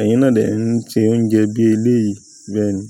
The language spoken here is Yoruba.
ẹ̀yin náà lè ń ṣe oúnjẹ bí eleyìí bẹ́ẹ̀ ni".